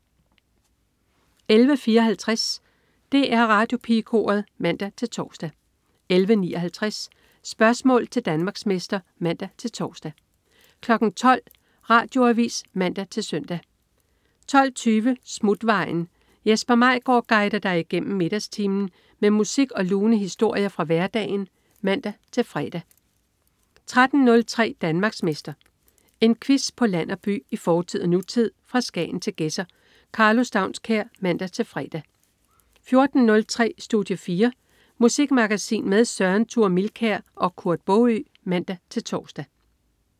11.54 DR Radiopigekoret (man-tors) 11.59 Spørgsmål til Danmarksmester (man-tors) 12.00 Radioavis (man-søn) 12.20 Smutvejen. Jesper Maigaard guider dig igennem middagstimen med musik og lune historier fra hverdagen (man-fre) 13.03 Danmarksmester. En quiz på land og by, i fortid og nutid, fra Skagen til Gedser. Karlo Staunskær (man-fre) 14.03 Studie 4. Musikmagasin med Søren Thure Milkær og Kurt Baagø (man-tors)